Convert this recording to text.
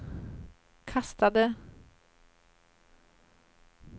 kastade